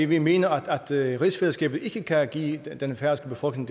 vi mener at rigsfællesskabet ikke kan give den færøske befolkning